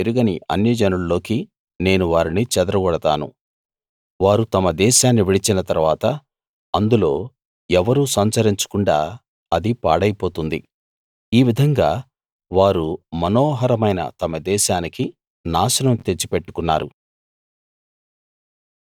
వారు ఎరుగని అన్య జనుల్లోకి నేను వారిని చెదరగొడతాను వారు తమ దేశాన్ని విడిచిన తరువాత అందులో ఎవరూ సంచరించకుండా అది పాడైపోతుంది ఈ విధంగా వారు మనోహరమైన తమ దేశానికి నాశనం తెచ్చి పెట్టుకున్నారు